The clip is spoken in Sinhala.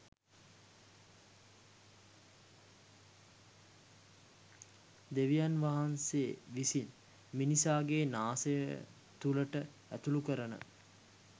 දෙවියන් වහන්සේ විසින් මිනිසාගේ නාසය තුළට ඇතුළුකරන